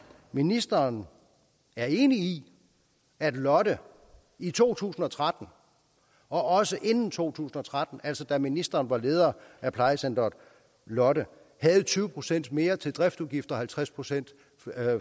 ministeren er enig i at lotte i to tusind og tretten og også inden to tusind og tretten altså da ministeren var leder af plejecenteret lotte havde tyve procent mere til driftsudgifter og halvtreds procent